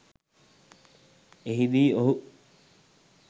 එහි දී ඔහු